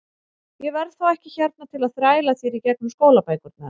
Ég verð þá ekki hérna til að þræla þér í gegnum skólabækurnar.